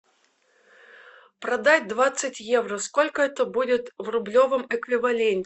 продать двадцать евро сколько это будет в рублевом эквиваленте